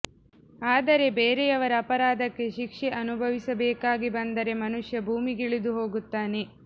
ಆದರೆ ಬೇರೆಯವರ ಅಪರಾಧಕ್ಕೆ ಶಿಕ್ಷೆ ಅನುಭವಿಸಬೇಕಾಗಿ ಬಂದರೆ ಮನುಷ್ಯ ಭೂಮಿಗಿಳಿದು ಹೋಗುತ್ತಾನೆ